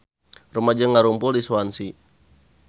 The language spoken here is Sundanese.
Rumaja ngarumpul di Swansea